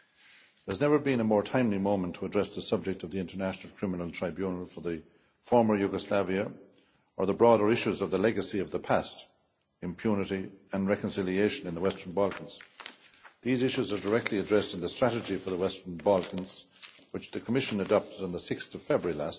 There has never been a more timely moment to address the subject of the International Criminal Tribunal for the former Yugoslavia, or the broader issues of the legacy of past, impunity and reconciliation in the Western Balkans. These issues are directly addressed in the strategy for the Western Balkans, which the Commission adopted on 6 February.